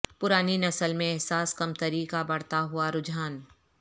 پرانی نسل میں احساس کمتری کا بڑھتا ہوا رجحان